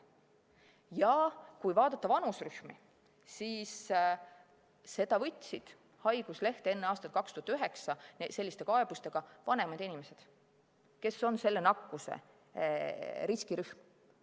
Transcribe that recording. Ja kui vaadata vanuserühmi, siis selliste kaebustega võtsid haiguslehte enne aastat 2009 vanemad inimesed, kes on praeguse nakkuse riskirühm.